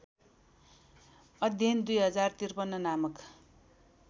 अध्ययन २०५३ नामक